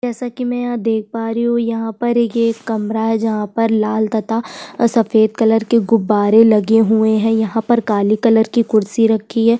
जैसा की में यहाँ देख पा रही हू यहाँ पर एक कमरा है जहाँ पर लाल तथा सफ़ेद कलर के गुबारे लगे हुए है यहाँ पर काले कलर की कुर्सी रखी है।